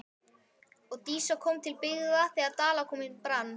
Og Dísa kom til byggða þegar Dalakofinn brann.